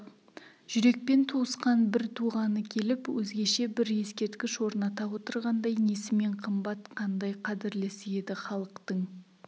жүрекпен туысқан бір туғаны келіп өзгеше бір ескерткіш орната отырғандай несімен қымбат қандай қадірлісі еді халықтың